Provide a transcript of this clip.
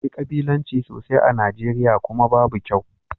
Akwai kabilanci sosai a Nijeriya, kuma babu kyau